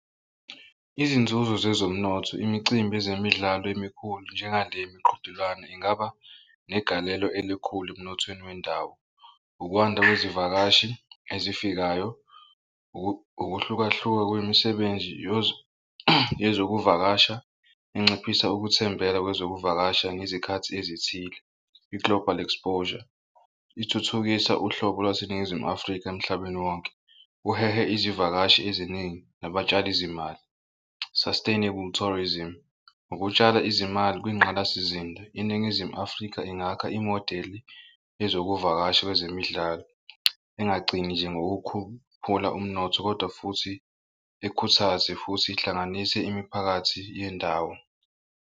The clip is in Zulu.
Izinzuzo zezomnotho, imicimbi yezemidlalo emikhulu njengale miqhudelwano ingaba negalelo elikhulu emnothweni wendawo. Ukwanda kwezivakashi ezifikayo, ukuhlukahluka kwemisebenzi yezokuvakasha inciphisa ukuthembela kwezokuvakasha ngezikhathi ezithile. I-global exposure ithuthukisa uhlobo laseNingizimu Afrika emhlabeni wonke, uhehe izivakashi eziningi nabatshali zimali. Sustainable tourism ngokutshala izimali kwingqalasizinda iNingizimu Afrika ingakha imodeli ezokuvakasha kwezemidlalo engagcini nje ngokukhuphula umnotho kodwa futhi ikhuthaze futhi ihlanganise imiphakathi yendawo.